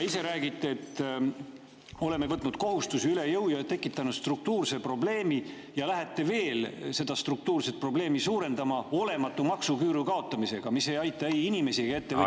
Ise räägite, et oleme võtnud üle jõu kohustusi ja tekitanud struktuurse probleemi, ja siis lähete veel seda struktuurset probleemi suurendama olematu maksuküüru kaotamisega, mis ei aita ei inimesi ega ettevõtjaid.